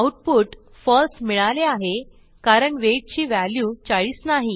output फळसे मिळाले आहे कारण वेट ची व्हॅल्यू 40 नाही